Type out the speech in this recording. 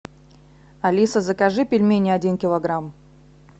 алиса закажи пельмени один килограмм